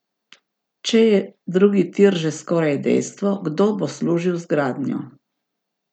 Če je drugi tir že skoraj dejstvo, kdo bo služil z gradnjo?